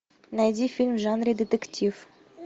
найди фильм в жанре детектив